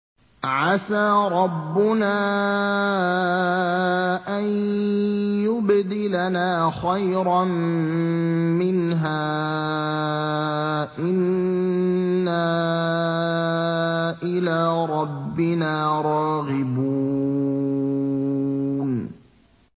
عَسَىٰ رَبُّنَا أَن يُبْدِلَنَا خَيْرًا مِّنْهَا إِنَّا إِلَىٰ رَبِّنَا رَاغِبُونَ